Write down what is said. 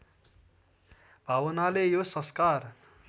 भावनाले यो संस्कार